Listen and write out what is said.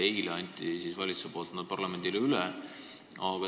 Eile andis valitsus need tõesti parlamendile üle.